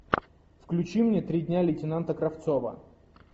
включи мне три дня лейтенанта кравцова